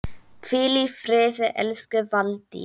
Hvíl í friði elsku Valdís.